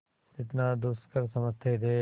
जितना दुष्कर समझते थे